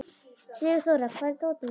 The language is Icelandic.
Sigurþóra, hvar er dótið mitt?